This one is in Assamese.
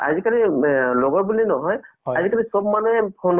নে first part তো চোৱা নাই second part তো গোটেইখিনি শেষ কৰিলো আৰু।